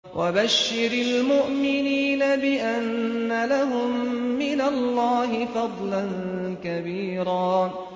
وَبَشِّرِ الْمُؤْمِنِينَ بِأَنَّ لَهُم مِّنَ اللَّهِ فَضْلًا كَبِيرًا